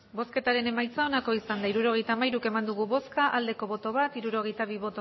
hirurogeita hamairu eman dugu bozka bat bai hirurogeita bi